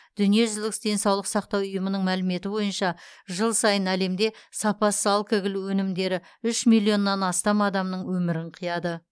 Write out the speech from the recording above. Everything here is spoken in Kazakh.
дүниежүзілік денсаулық сақтау ұйымының мәліметі бойынша жыл сайын әлемде сапасыз алкоголь өнімдері үш миллионнан астам адамның өмірін қияды